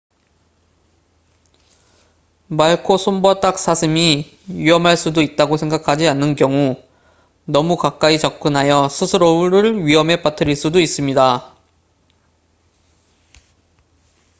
말코손바닥사슴이 위험할 수도 있다고 생각하지 않는 경우 너무 가까이 접근하여 스스로를 위험에 빠뜨릴 수도 있습니다